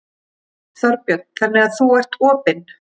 Þorbjörn: Þannig að þú ert opinn?